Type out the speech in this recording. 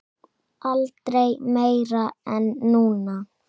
Aldrei meira en núna.